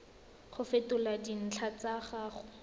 go fetola dintlha tsa gago